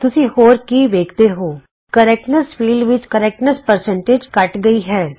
ਤੁਸੀਂ ਹੋਰ ਕੀ ਵੇਖਦੇ ਹੋ ਸ਼ੁੱਧਤਾ ਖੇਤਰ ਵਿਚ ਸ਼ੁੱਧਤਾ ਪ੍ਰਤੀਸ਼ਤ ਘੱਟ ਗਈ ਹੈ